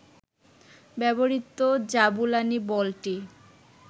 ব্যবহৃত জাবুলানি বলটি